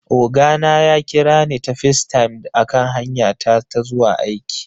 Oga na ya kira ni ta FaceTime a kan hanya ta ta zuwa aiki